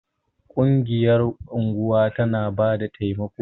Ƙungiyar unguwa tana bada taimako.